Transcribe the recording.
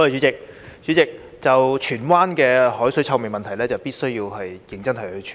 主席，就着荃灣的海水臭味問題，政府必須認真處理。